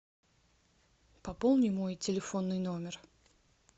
пополни мой телефонный номер